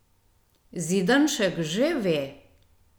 Zidanšek že ve!